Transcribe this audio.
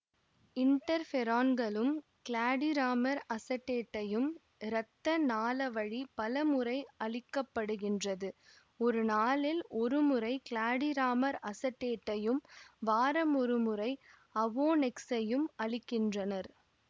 இன்டர்ஃபெரான்களும் glatiramer அசடேட்டையும் இரத்த நாளவழி பல முறை அளிக்கப்படுகின்றது ஒரு நாளில் ஒருமுறை க்ளாடிராமர் அசடேட்டையும் வாரமொருமுறை அவோநெக்சையும் அளிக்கின்றனர்